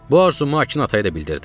Bu arzumu Akın ataya da bildirdim.